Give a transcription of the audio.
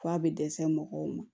F'a bɛ dɛsɛ mɔgɔw ma